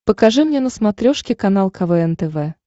покажи мне на смотрешке канал квн тв